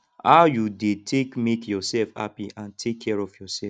how you dey take make yourself happy and take care of yourself